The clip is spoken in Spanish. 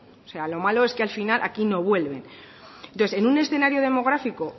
o sea lo malo es que al final aquí no vuelven entonces en un escenario demográfico